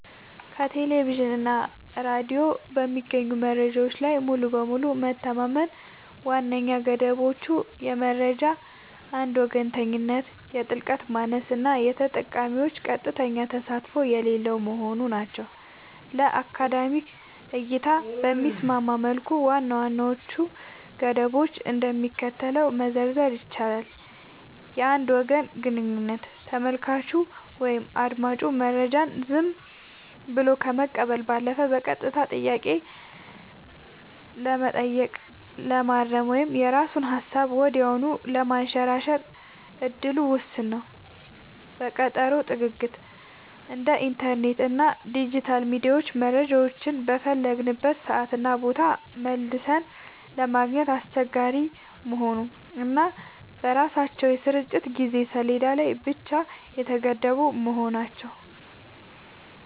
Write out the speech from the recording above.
ከቴሌቪዥን እና ሬዲዮ በሚገኙ መረጃዎች ላይ ሙሉ በሙሉ መተማመን ዋነኛ ገደቦቹ የመረጃ አንድ ወገንተኝነት፣ የጥልቀት ማነስ እና የተጠቃሚዎች ቀጥተኛ ተሳትፎ የሌለው መሆኑ ናቸው። ለአካዳሚክ እይታ በሚስማማ መልኩ ዋና ዋናዎቹን ገደቦች እንደሚከተለው መዘርዘር ይቻላል፦ የአንድ ወገን ግንኙነት : ተመልካቹ ወይም አዳማጩ መረጃውን ዝም ብሎ ከመቀበል ባለፈ በቀጥታ ጥያቄ ለመጠየቅ፣ ለማረም ወይም የራሱን ሃሳብ ወዲያውኑ ለማንሸራሸር እድሉ ውስን ነው። የቀጠሮ ጥግግት : እንደ ኢንተርኔት እና ዲጂታል ሚዲያ መረጃዎችን በፈለግንበት ሰዓትና ቦታ መልሰን ለማግኘት አስቸጋሪ መሆኑ እና በራሳቸው የስርጭት የጊዜ ሰሌዳ ላይ ብቻ የተገደቡ መሆናቸው።